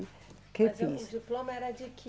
Que fiz. Mas eh, o diploma era de quê?